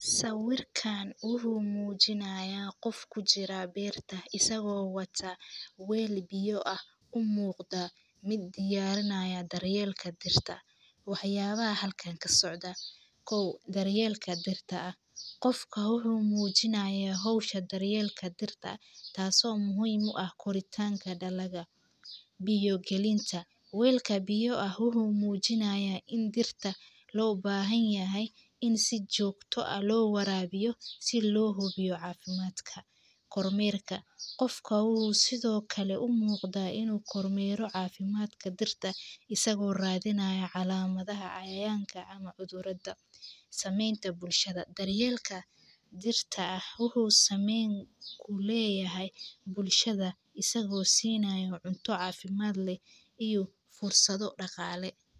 Sawirkan wuxuu mujiinayaa qof kujiraa beerta isago wata weel miyo ah u muqda miid diyarinaya daryeelka dirta, waxyaba halkan kasocdan, kow daryelka dirtaa, qofka wuxuu mujiinaaya daryeelka dirtaa taso muhiim u ah koritanka daladha, biyo galinta, weelka biya ah wuxuu mujiinayaa in dirtaa lo bahanyahay in si jogta ah lo warawiyo si lo huwiyo cafimaadka, kormerka, qofka wuxuu sithokale u muqdaa in u kor mero cafimaadka dirtaa isago radhinaya calamaadhaha cayayanka ama cudhuradaa, samenta bulshaada daryeelka dirtaa wuxuu sameyn u leyahay bulshaada isago sinayo cunto cafimaad leh iyo fursado daqalee.